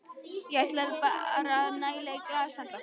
Ég ætla bara að næla í glas handa okkur.